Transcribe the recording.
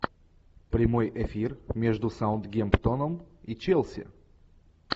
прямой эфир между саутгемптоном и челси